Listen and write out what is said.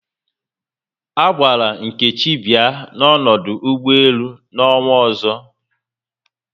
A gwara Nkechi bịa n'ọdụ ụgbọelu n'ọnwa ọzọ